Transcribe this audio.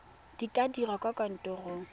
di ka dirwa kwa kantorong